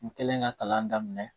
N kɛlen ka kalan daminɛ